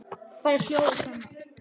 Þær hljóða svona